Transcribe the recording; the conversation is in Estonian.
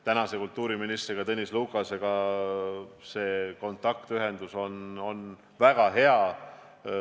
Tänase kultuuriministri Tõnis Lukasega on kontaktühendus väga hea.